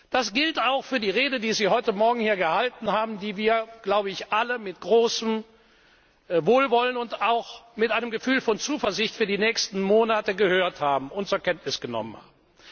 Das gilt auch für die Rede, die Sie heute Morgen hier gehalten haben, die wir alle mit großem Wohlwollen und auch mit einem Gefühl von Zuversicht für die nächsten Monate gehört und zur Kenntnis genommen